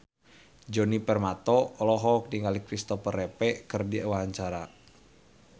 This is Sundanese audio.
Djoni Permato olohok ningali Kristopher Reeve keur diwawancara